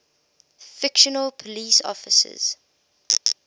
fictional police officers